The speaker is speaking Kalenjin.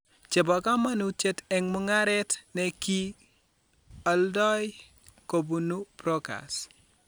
Che po kamanuutyet eng' mung'aaret ne ki aldoi kobunu prokers.